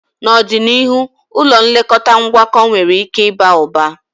N'ọdịniihu, ụlọ nlekọta ngwakọ nwere ike ịba ụba.